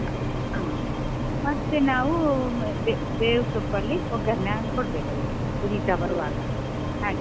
ಹ ಮತ್ತೆ ನಾವು ಅಹ್ ಬೇವು ಬೇವು ಸೊಪ್ಪಲ್ಲಿ ಒಗ್ಗರಣೆ ಅಹ್ ಕೊಡ್ಬೇಕು ಅದಕ್ಕೆ ಹುರಿತಾ ಬರುವಾಗ ಹಾಗೆ.